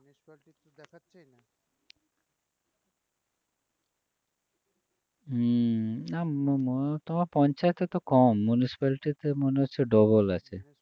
হম না ম~ ম~ তোমার পঞ্চায়েতে তো কম municipality তে মনে হচ্ছে double আছে